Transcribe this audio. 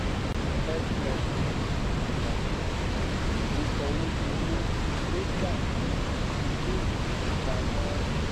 xxx san san ìwésòwédowó data sí iléìfowópamó